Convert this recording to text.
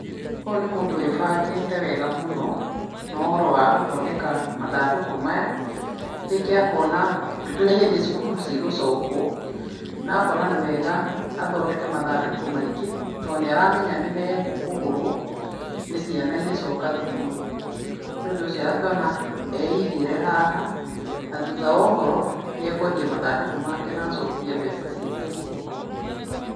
Ũyũ nĩ mũndũ wĩ bangĩte wega mũno, na ũhoro wa gũthondeka mathandũkũ maya, rĩngĩ akona nĩ hĩndĩ cukuru cigũcokwo, na akona nĩ wega athondeke mathandũkũ maingĩ, tondũ nĩ aramenya nĩ mekũgũrwo nĩ ciana igĩcoka thukuru. Nĩ ũndũ ucio agakĩona e igĩre haha, na thutha wa ũhoro nĩ akwendia mathandũkũ make na acokie mbeca ciake mũhuko.